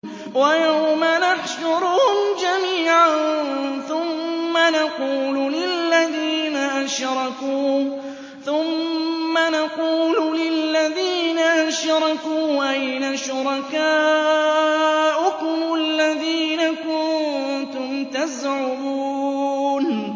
وَيَوْمَ نَحْشُرُهُمْ جَمِيعًا ثُمَّ نَقُولُ لِلَّذِينَ أَشْرَكُوا أَيْنَ شُرَكَاؤُكُمُ الَّذِينَ كُنتُمْ تَزْعُمُونَ